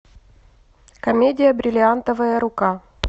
комедия бриллиантовая рука